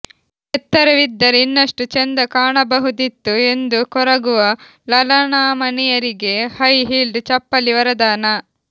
ಎತ್ತರವಿದ್ದರೆ ಇನ್ನಷ್ಟು ಚೆಂದ ಕಾಣಬಹುದಿತ್ತು ಎಂದು ಕೊರಗುವ ಲಲನಾಮಣಿಯರಿಗೆ ಹೈ ಹೀಲ್ಡ್ ಚಪ್ಪಲಿ ವರದಾನ